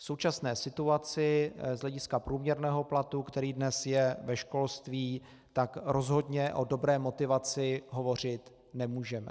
V současné situaci z hlediska průměrného platu, který dnes je ve školství, tak rozhodně o dobré motivaci hovořit nemůžeme.